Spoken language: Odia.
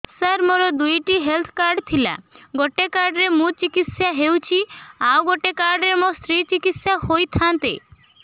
ସାର ମୋର ଦୁଇଟି ହେଲ୍ଥ କାର୍ଡ ଥିଲା ଗୋଟେ କାର୍ଡ ରେ ମୁଁ ଚିକିତ୍ସା ହେଉଛି ଆଉ ଗୋଟେ କାର୍ଡ ରେ ମୋ ସ୍ତ୍ରୀ ଚିକିତ୍ସା ହୋଇଥାନ୍ତେ